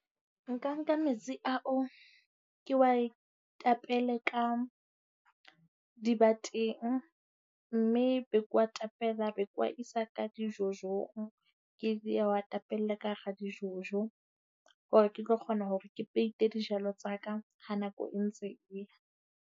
Nka nka metsi ao, ke wa tapele ka dibateng mme be ke wa tapela, be ke wa isa ka di-jojo-ng. Ke wa tapela ka hara di-jojo, hore ke tlo kgona hore ke peite dijalo tsa ka ha nako e ntse e ya.